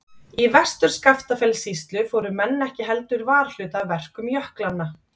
Í Vestur-Skaftafellssýslu fóru menn ekki heldur varhluta af verkum jöklanna.